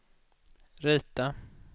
rita